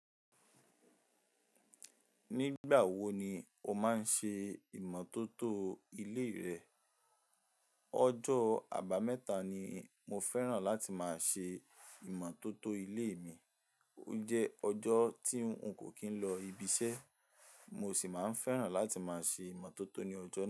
Nígbà wo ni o máa ń ṣe ìmọ́tótó ilé rẹ? Ọjọ́ àbámẹ́ta ni mo fẹ́ràn láti máa ṣe ìmọ́tótó ilé mi. O jẹ́ ọjọ́ tí n kò kín lọ ibi iṣẹ́, mo sì máa ń fẹ́ràn láti máa ṣe ìmọ́tótó ní ọjọ́ náà.